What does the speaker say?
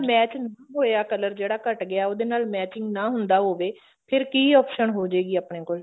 match ਨਹੀਂ ਹੋਇਆ color ਜਿਹੜਾ ਘੱਟ ਗਿਆ ਉਹਦੇ ਨਾਲ matching ਨਾ ਹੁੰਦਾ ਹੋਵੇ ਫੇਰ ਕਿ option ਹੋਜੇਗੀ ਆਪਣੇ ਕੋਲ